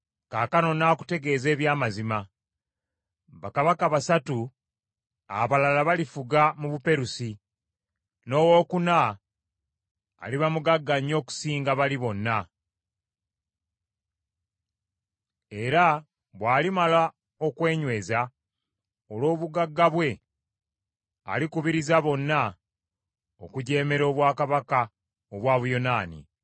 “Kaakano nnaakutegeeza eby’amazima: Bakabaka basatu abalala balifuga mu Buperusi, n’owookuna aliba mugagga nnyo okusinga bali bonna; era bw’alimala okwenyweza olw’obugagga bwe, alikubiriza bonna okujeemera obwakabaka obwa Buyonaani.